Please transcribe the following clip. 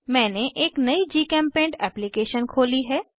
मैंने एक नयी जीचेम्पेंट एप्लीकेशन खोली है